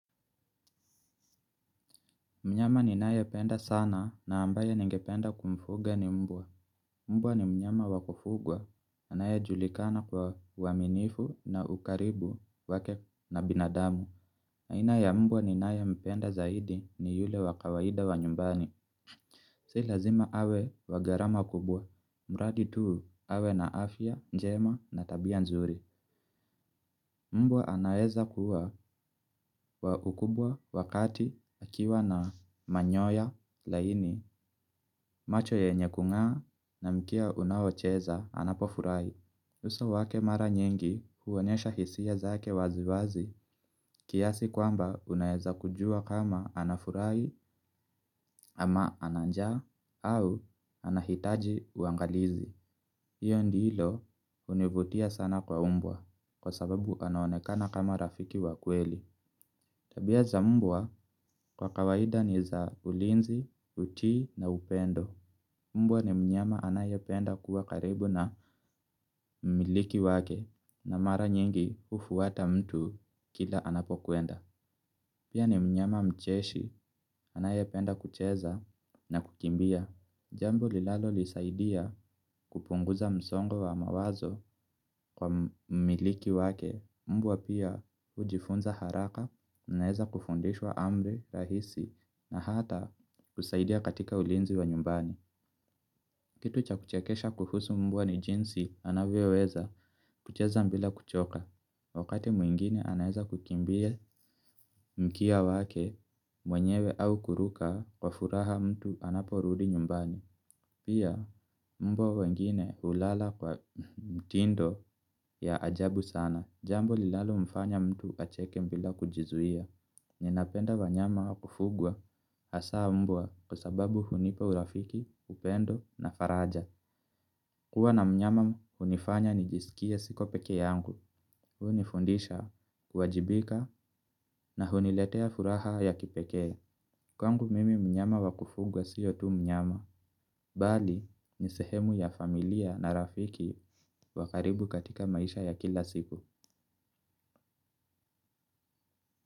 Mnyama ni naye penda sana na ambaye ningependa kumfuga ni mbwa. Mbwa ni mnyama wakufugwa, anaye julikana kwa uwaminifu na ukaribu, wake na binadamu. Aina ya mbwa ninaye mpenda zaidi, ni yule wakawaida wa nyumbani. Silazima awe, wagharama kubwa. Mradi tu, awe na afya njema, na tabia nzuri. Mbwa anaeza kuwa, wa ukubwa wakati akiwa na manyoya laini. Macho yanye kungaa na mkia unaocheza, anapofurai. Uso wake mara nyingi huwonyesha hisia zake wazi wazi, kiasi kwamba unaeza kujua kama, anafurahi ama ana njaa au anahitaji uangalizi. Iyo ndilo hunivutia sana kwa umbwa. Kwa sababu anaonekana kama rafiki wakweli. Tabia za mbwa, kwa kawaida ni za ulinzi, utii na upendo. Mbwa ni mnyama anayependa kuwa karibu na, mmiliki wake na mara nyingi hufuwata mtu kila anapokuenda. Pia ni mnyama mcheshi anayependa kucheza na kukimbia. Jambo linalo nisaidia, kupunguza msongo wa mawazo, kwa mmiliki wake, mbwa pia, hujifunza haraka, unaeza kufundishwa amri, rahisi na hata, kusaidia katika ulinzi wa nyumbani. Kitu cha kuchekesha kuhusu mbwa, ni jinsi, anavyoweza kucheza mbila kuchoka. Wakati mwingine anaeza kukimbia mkia wake, mwenyewe au kuruka, kwa furaha mtu anaporudi nyumbani. Pia, mbwa wengine hulala kwa mtindo, ya ajabu sana. Jambo linalo mfanya mtu acheke mbila kujizuia. Ninapenda wanyama wakufugwa, hasaa mbwa, kwa sababu hunipa urafiki, upendo na faraja. Kuwa na mnyama, hunifanya nijisikie siko pekee yangu. Hunifundisha, kuwajibika na huniletea furaha ya kipekee. Kwangu mimi mnyama wakufunga siyo tu mnyama. Bali, nisehemu ya familia na rafiki, wakaribu katika maisha ya kila siku.